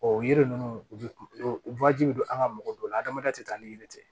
o yiri ninnu u bɛ don an ka mɔgɔ dɔw la adamaden tɛ taa ni yiri tɛ